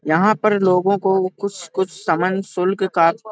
यहाँ पर लोगों को कुछ -कुछ समन शुल्क का --